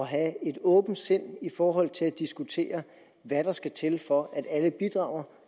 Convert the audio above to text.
have et åbent sind i forhold til at diskutere hvad der skal til for at alle bidrager